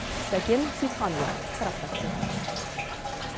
сәкен сейітханұлы сараптап көрді